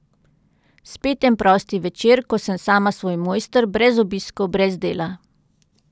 Spet en prosti večer, ko sem sama svoj mojster, brez obiskov, brez dela.